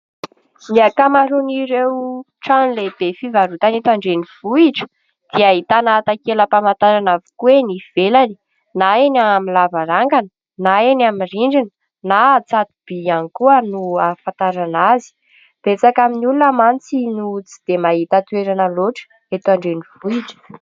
Ny ankamaroan'ireo trano lehibe fivarotana eny an-drenivohitra dia ahitana takela-pamantarana avokoa eny ivelany na eny amin'ny lavarangana na eny amin'ny rindrina na tsato-by ihany koa no ahafantarana azy. Betsaka amin'ny olona mantsy no tsy dia mahita toerana loatra eto an-drenivohitra.